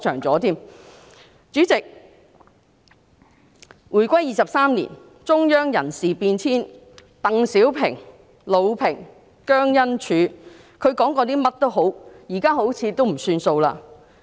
主席，回歸23年，中央人事變遷，無論鄧小平、魯平及姜恩柱說過甚麼，現在好像也不算數了。